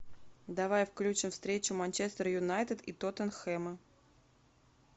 давай включим встречу манчестер юнайтед и тоттенхэма